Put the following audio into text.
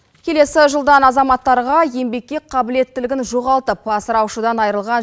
келесі жылдан азаматтарға еңбекке қабілеттілігін жоғалтып асыраушыдан айырылған